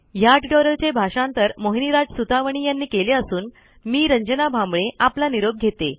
ह्या ट्युटोरियलचे भाषांतर मोहिनीराज सुतवणी यांनी केले असून मी रंजना भांबळे आपला निरोप घेते